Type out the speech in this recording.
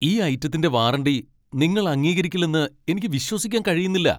ഈ ഐറ്റത്തിന്റെ വാറണ്ടി നിങ്ങൾ അംഗീകരിക്കില്ലെന്ന് എനിക്ക് വിശ്വസിക്കാൻ കഴിയുന്നില്ല.